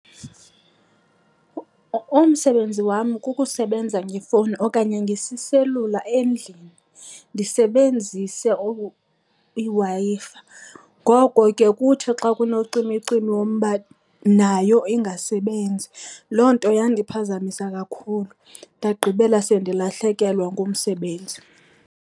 Umsebenzi wam kukusebenza ngefowuni okanye ngesiselula endlini, ndisebenzise iWi-Fi. Ngoko ke kuthi xa kunocimicimi wombane nayo ingasebenzi. Loo nto yandiphazamisa kakhulu ndagqibela sendilahlekelwa ngumsebenzi.